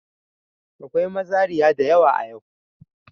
Akwai mazariya da yawa a yau.